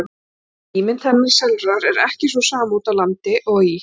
Og ímynd hennar sjálfrar er ekki sú sama úti á landi og í